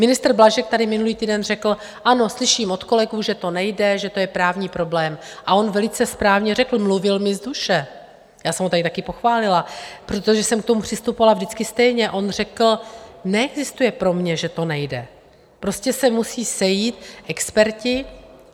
Ministr Blažek tady minulý týden řekl: Ano, slyším od kolegů, že to nejde, že to je právní problém, a on velice správně řekl - mluvil mi z duše, já jsem ho tady také pochválila, protože jsem k tomu přistupovala vždycky stejně, on řekl: Neexistuje pro mě, že to nejde, prostě se musí sejít experti.